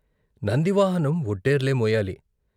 నంది వాహనం వొడ్డేర్లే మోయాలి.